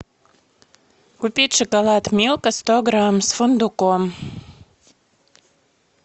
купить шоколад милка сто грамм с фундуком